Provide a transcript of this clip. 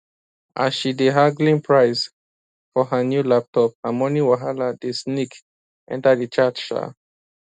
as she dey haggling price for her new laptop her money wahala dey sneak enter di chat um